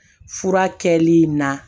Fura kɛli in na